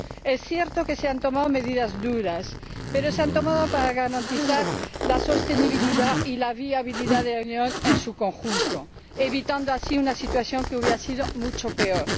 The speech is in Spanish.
Es cierto que se han tomado medidas duras, pero se han tomado para garantizar la sostenibilidad y la viabilidad de la Unión en su conjunto, evitando así una situación que hubiera sido mucho peor.